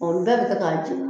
Ɔ bɛɛ bɛ kɛ k'a jeni